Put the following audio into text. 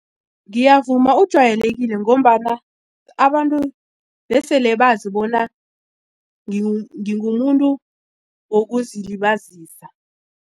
Ngiyavuma ujwayelekile ngombana abantu besele bazi bona ngingumuntu wokuzilibazisa.